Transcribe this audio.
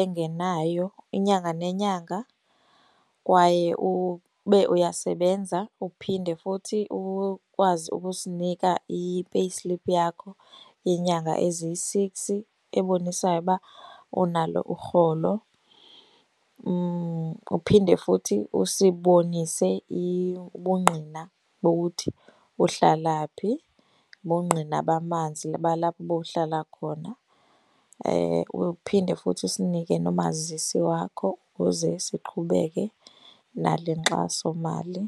engenayo inyanga nenyanga kwaye ube uyasebenza. Uphinde futhi ukwazi ukusinika i-payslip yakho yenyanga eziyi-six ebonisayo uba unalo urholo. Uphinde futhi usibonise ubungqina bokuthi uhlala phi, ubungqina bamanzi balapho ubowuhlala khona. Uphinde futhi usinike nomazisi wakho ukuze siqhubeke nale nkxasomali.